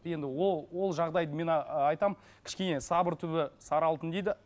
енді ол жағдайды мен ыыы айтамын кішкене сабыр түбі сары алтын дейді